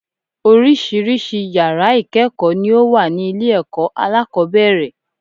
Oríṣiríṣi yàrá ìkéèkó ni ó wà ní ilé èkó alákòóbèrè